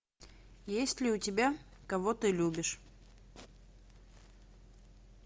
есть ли у тебя кого ты любишь